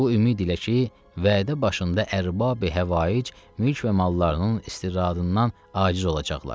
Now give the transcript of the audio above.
Bu ümid ilə ki, vədə başında ərbabi həvaic mülk və mallarının istiradından aciz olacaqlar.